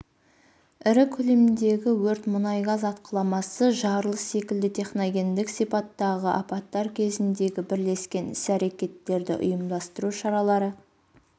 ірі көлемдегі өрт мұнай-газ атқыламасы жарылыс секілді техногендік сипаттағы апаттар кезіндегі бірлескен іс-әрекеттерді ұйымдастыру шаралары